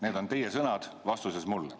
Need on teie sõnad vastusest mulle.